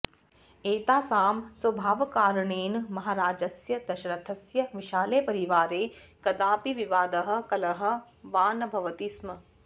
एतासां स्वभावकारणेन महाराजस्य दशरथस्य विशाले परिवारे कदापि विवादः कलहः वा न भवति स्म